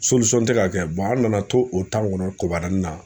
tɛ ka kɛ an nana to o kɔnɔ kobarani na.